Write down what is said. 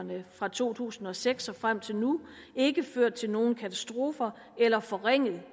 fra to tusind og seks og frem til nu ikke ført til nogen katastrofer eller forringet